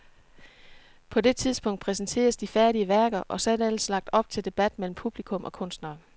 På det tidspunkt præsenters de færdige værker, og så er der ellers lagt op til debat mellem publikum og kunstnere.